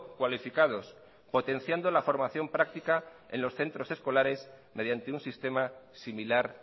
cualificados potenciando la formación práctica en los centros escolares mediante un sistema similar